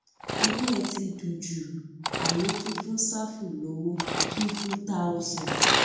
inú ẹ ti dùn jù á lọ tún fún ṣáfù lọwọ fíìfù táọsán